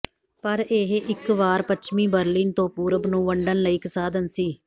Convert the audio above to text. ਪਰ ਇਹ ਇੱਕ ਵਾਰ ਪੱਛਮੀ ਬਰਲਿਨ ਤੋਂ ਪੂਰਬ ਨੂੰ ਵੰਡਣ ਲਈ ਇੱਕ ਸਾਧਨ ਸੀ